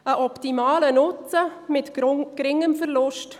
Daraus resultiert ein optimaler Nutzen bei geringem Verlust.